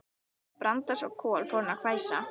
Þegar Branda sá Kol fór hún að hvæsa.